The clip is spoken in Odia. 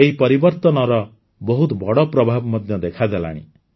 ଏହି ପରିବର୍ତନର ବହୁତ ବଡ଼ ପ୍ରଭାବ ମଧ୍ୟ ଦେଖାଗଲାଣି